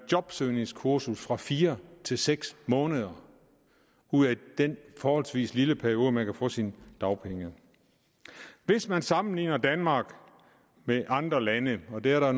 jobsøgningskurser fra fire til seks måneder ud af den forholdsvis lille periode man kan få sine dagpenge i hvis man sammenligner danmark med andre lande og det er der